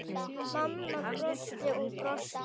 Mamma brosti og brosti.